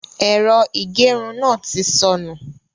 Ẹ̀rọ ìgerun náà ti sọnù.